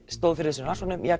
stóðu fyrir rannsókninni